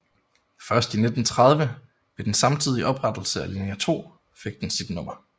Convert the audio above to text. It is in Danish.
Først i 1930 ved den samtidige oprettelse af linje 2 fik den sit nummer